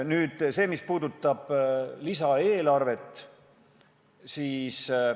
Nüüd sellest, mis puudutab lisaeelarvet.